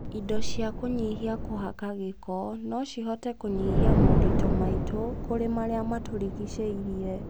indo cia kũnyihia kũhaka gĩko, no cihote kũnyihia moritũ maitũ kũrĩ marĩa matũrigicĩirie